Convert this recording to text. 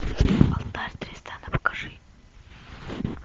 алтарь тристана покажи